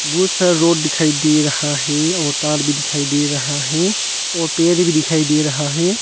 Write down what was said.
बहुत सारा रॉड दिखाई दे रहा है और तार भी दिखाई दे रहा है और पेर भी दिखाई दे रहा है।